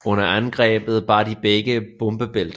Under angrebet bar de begge bombebælter